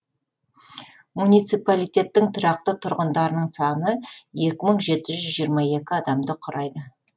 муниципалитеттің тұрақты тұрғындарының саны екі мың жеті жүз жиырма екі адамды құрайды